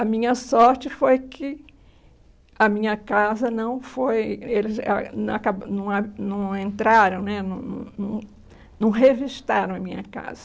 A minha sorte foi que a minha casa não foi... Eles não ah não entraram né, não não não não revistaram a minha casa.